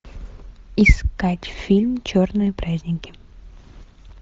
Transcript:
искать фильм черные праздники